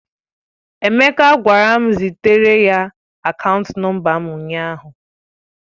Emeka gwara m zitere ya akaant nọmba m ụnyaahụ.